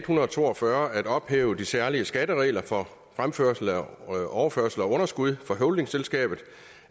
hundrede og to og fyrre at ophæve de særlige skatteregler for overførsel af underskud fra holdingselskabet